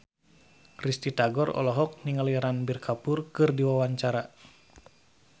Risty Tagor olohok ningali Ranbir Kapoor keur diwawancara